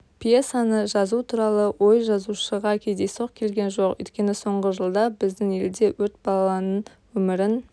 пьесаны жазу туралы ой жазушыға кездейсоқ келген жоқ өйткені соңғы жылда біздің елде өрт баланың өмірін